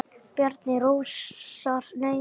Bjarni Rósar Nei.